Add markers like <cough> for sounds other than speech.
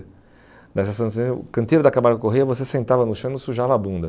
<unintelligible> O canteiro da Camargo Corrêa, você sentava no chão e não sujava a bunda.